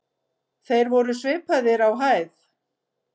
Þeir voru svipaðir á hæð.